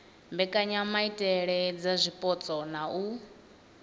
mbekanyamaitele dza zwipotso na u